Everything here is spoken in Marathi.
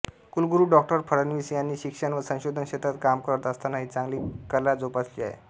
कुलगुरू डॉ फडणवीस यांनी शिक्षण व संशोधन क्षेत्रात काम करत असतानाही चांगली कला जोपासली आहे